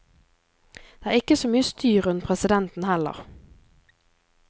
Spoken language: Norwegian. Det er ikke så mye styr rundt presidenten heller.